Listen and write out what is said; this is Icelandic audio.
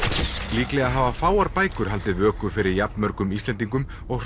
líklega hafa fáir bækur haldið vöku fyrir jafnmörgum Íslendingum og